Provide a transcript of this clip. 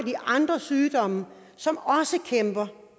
de andre sygdomme som også kæmper